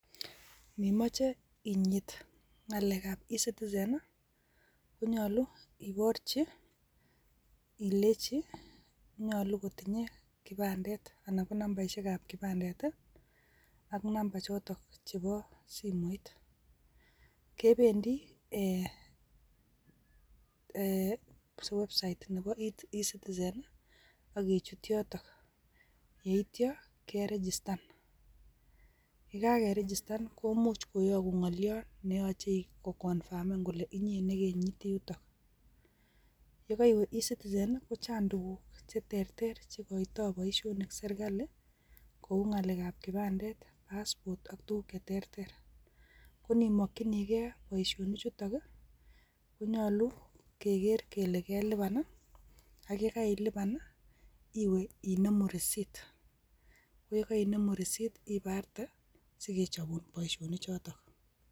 Inimoche inyiit ngalekab ecitizen I,konyolu iboorchi ilenyii nyolu kotindoi kipandet anan ko nambaisiek ab kipandet. Ak namba chotok chebo simoit, kebendi eeh website nebo ecitizen e,akichut yotok. Yeityoo kerichistan, ye kakerichistan komuch koyogun ngolyoot neyoche kokonfamen kole inye nekenyiiti yutok. Yekoiwe ecitizen kochang tuguuk chetebee chendo boishonik serkalii kou ngalekab kipandet, passport ak tuguk Che terter. Konimokyinigei boishonik chutok, konyolu kegeer kele kelipan i,ak yekailipan i iwe inemu risit. Yekoinemu risit ibartee sikechobuun, boishonichotok.